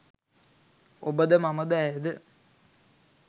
ඔබද මමද ඇයද